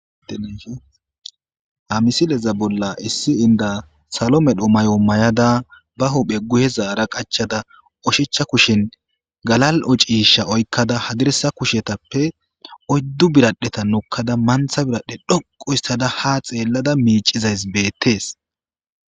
Deamisileza bolla issi inda salo medho may'o may'ada ba huphe guhe zaara qachada oshecha kushen galal'ocisha oykkada hadiresa kushetappe oyddu biradheta nukkada mantha biradhe dhoquyssada ha xeellada miicizays beettees